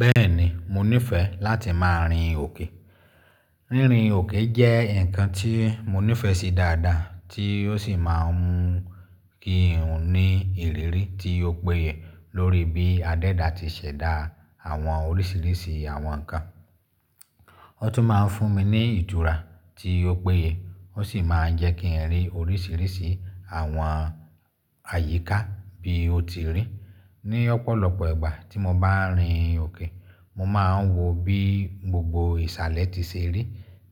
Bẹ́ẹ̀ni, mo nífẹẹ láti máa rìn òkè. Rírin òkè jẹ́ ǹkan tí mo nífẹẹ sí dáadáa tí ó sì máa ń mú kí n ní ìrírí tí ó péye lórí bí adẹ́dà ti ṣẹ̀dá àwọn oríṣìíríṣìí àwọn ǹkan. Ó tún máa ń fún mi ní ìtura tí ó péye ó sì máa ń jẹ́ kí n rí oríṣìíríṣìí àwọn àyíká bí ó ti rí. Ni ọ̀pọ̀lọpọ̀ ìgbà tí mo bá ń rìn òkè, mo máa ń wò bí gbogbo ìsàlẹ̀ ti ṣe rí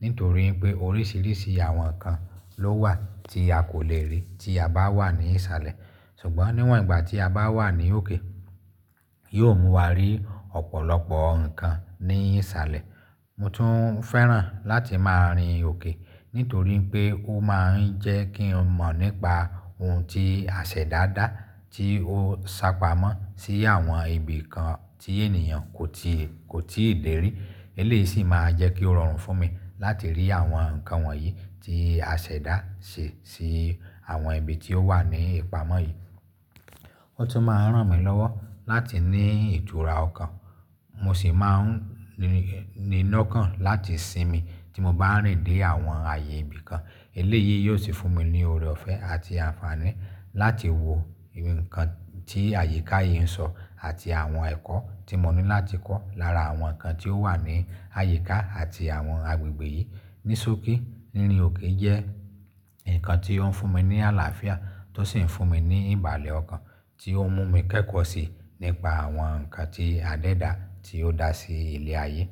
nítorí pé oríṣìíríṣìí àwọn ǹkan ló wà tí a kò lè rí tí a bá wà ní ìsàlẹ̀. Ṣùgbọ́n níwòn ìgbà tí a bá wà ní òkè, yóò mú wa rí ọ̀pọ̀lọpọ̀ ǹkan ní ìsàlẹ̀. Mo tún féràn láti máa rìn òkè nítorí pé ó máa ń jẹ́ kí n mọ̀ nípa ohun tí àṣẹdá dáa tí ó sá pamọ́ sí àwọn ibìkan tí ènìyàn kò tíì, kò tíì lè rí. Eléyìí sì máa jẹ́ kí ó rọrùn fún mi láti rí àwọn ǹkan wọ̀nyí tí àṣẹdá ṣe sí àwọn ibi tí ó wà ní ìpamọ́ yìí. Ó tún máa ń ràn mí lọ́wọ́ láti ní ìtura ọkàn. Mo sì máa ń ní iná kan láti sinmi tí mo bá ń rìn dé àwọn ààyè ibìkan. Eléyìí yóò sì fún mi ní ọ̀rẹ́ ọ̀fẹ́ àti àǹfààní láti wò ǹkan tí àyíká yìí ń sọ àti àwọn ẹ̀kọ́ tí mo ní láti kọ́ lára àwọn ǹkan tí ó wà ní àyíká àti àwọn agbègbè yìí. Ní ṣókí, rínrin òkè jẹ́ ǹkan tí ó ń fún mi ní àlàáfíà tó sì ń fún mi ní ìbàlẹ̀ ọkàn tí ó mú mi kẹ́kọ̀ọ́ síi nípa àwọn ǹkan tí adẹ́dà tí ó dá sí ilẹ̀ ayé.